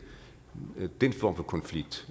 den form for konflikt